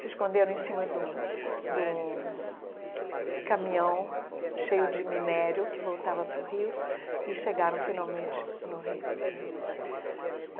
se esconderam em cima de um de um caminhão cheio de minério, que voltava para o Rio, e chegaram finalmente no Rio né.